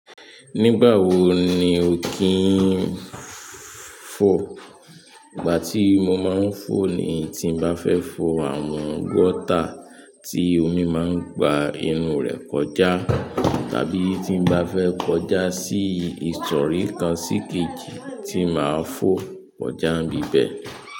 Nígbà wo ni o ki n fo? Ìgbà tí mo máa ń fò ni tí mo bá fẹ́ fò àwọn gọ́tà tí omi máa ń gba inú rẹ̀ kọjá tàbí tí mo bá fẹ́ kọjá sí ìsòrí kan síkejì tí màá fò kọjá n ibi bẹ́ẹ̀.